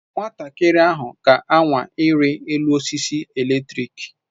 Nwatakịrị ahụ ga-anwa ịrị elu osisi eletrik.